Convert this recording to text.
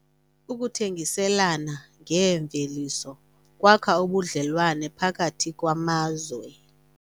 Ukuthengiselana ngeemveliso kwakha ubudlelwane phakathi kwamazwe.